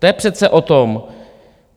To je přece o tom.